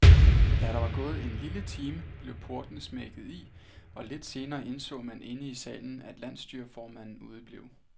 Da der var gået en lille time, blev portene smækket i, og lidt senere indså man inde i salen, at landsstyreformanden udeblev.